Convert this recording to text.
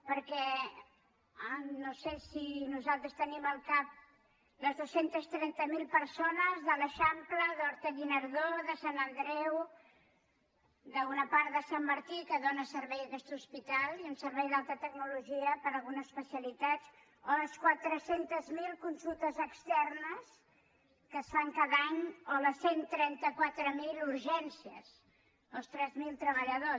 perquè no sé si nos·altres tenim al cap les dos cents i trenta miler persones de l’eixam·ple d’horta·guinardó de sant andreu d’una part de sant martí a què dóna servei aquest hospital i un servei d’alta tecnologia per a algunes especialitats o les quatre cents miler consultes externes que es fan cada any o les cent i trenta quatre mil urgències o els tres mil treballadors